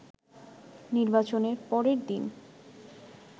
নির্বাচনের পরের দিন